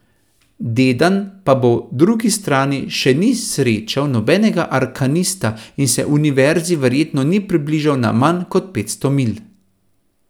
Dedan pa po drugi strani še ni srečal nobenega arkanista in se Univerzi verjetno ni približal na manj kot petsto milj.